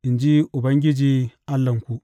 in ji Ubangiji Allahnku.